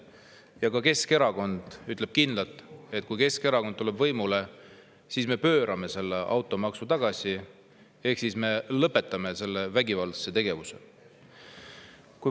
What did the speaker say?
Ja ka Keskerakond ütleb kindlalt, et kui Keskerakond tuleb võimule, siis me pöörame automaksu tagasi ehk lõpetame selle vägivaldse tegevuse.